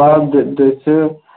ਲੋਕ ਵਿੱਚ